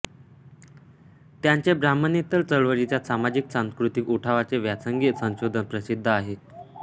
त्यांचे ब्राह्मणेतर चळवळीच्या सामाजिक सांस्कृतिक उठावाचे व्यासंगी संशोधन प्रसिद्ध आहे